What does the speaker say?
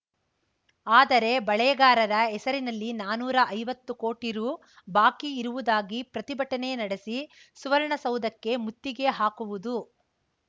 ಆದರೆ ಬೆಳೆಗಾರರ ಹೆಸರಿನಲ್ಲಿ ನಾನುರಾ ಐವತ್ತು ಕೋಟಿ ರು ಬಾಕಿ ಇರುವುದಾಗಿ ಪ್ರತಿಭಟನೆ ನಡೆಸಿ ಸುವರ್ಣಸೌಧಕ್ಕೆ ಮುತ್ತಿಗೆ ಹಾಕುವುದು